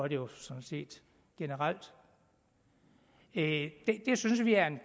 det jo sådan set generelt det synes vi er en